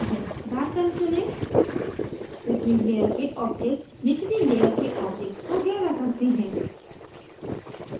darken चुनें ऊपरी layer के objects निचली layer के objects को गहरा करते हैं